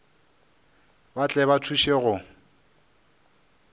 ba tle ba thuše go